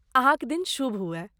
अहाँक दिन शुभ हुअए!